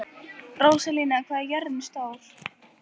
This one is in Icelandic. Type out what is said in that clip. Rósalía, hvað er jörðin stór?